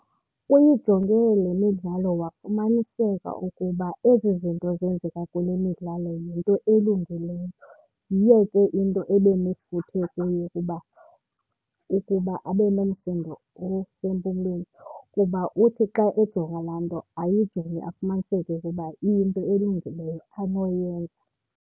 Uyijonge le midlalo wafumaniseka ukuba ezi zinto zenzeka kule midlalo yinto elungileyo. Yiyo ke into ebenefuthe kuyo kuba, ukuba abe nomsindo osempumlweni kuba uthi xa ejonga laa nto ayijonge afumaniseke ukuba iyinto elungileyo anoyenza.